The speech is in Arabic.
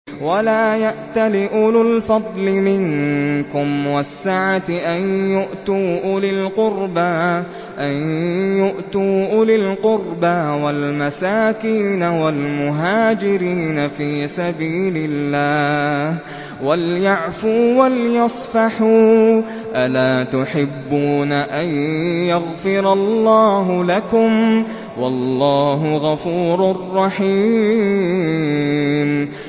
وَلَا يَأْتَلِ أُولُو الْفَضْلِ مِنكُمْ وَالسَّعَةِ أَن يُؤْتُوا أُولِي الْقُرْبَىٰ وَالْمَسَاكِينَ وَالْمُهَاجِرِينَ فِي سَبِيلِ اللَّهِ ۖ وَلْيَعْفُوا وَلْيَصْفَحُوا ۗ أَلَا تُحِبُّونَ أَن يَغْفِرَ اللَّهُ لَكُمْ ۗ وَاللَّهُ غَفُورٌ رَّحِيمٌ